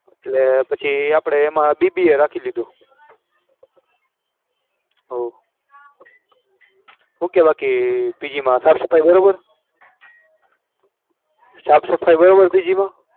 એટલે પછી આપણે એમાં BBA રાખી લીધું. હો શું કે બાકી સાફસફાઈ બરાબર સાફસફાઈ બરાબર PG માં